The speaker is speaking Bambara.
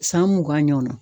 San mugan ɲɔnna.